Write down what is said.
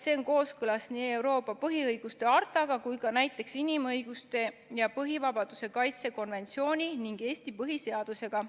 See on kooskõlas nii Euroopa põhiõiguste hartaga kui ka näiteks inimõiguste ja põhivabaduste kaitse konventsiooni ning Eesti põhiseadusega.